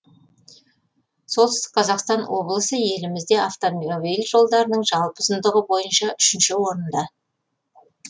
солтүстік қазақстан облысы елімізде автомобиль жолдарының жалпы ұзындығы бойынша үшінші орында